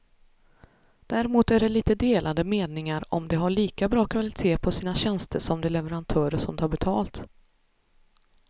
Däremot är det lite delade meningar om de har lika bra kvalitet på sina tjänster som de leverantörer som tar betalt.